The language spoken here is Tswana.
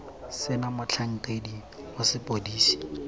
se na motlhankedi wa sepodisi